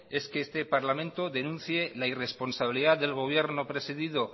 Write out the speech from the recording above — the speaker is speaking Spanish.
es que este parlamento denuncie la irresponsabilidad del gobierno precedido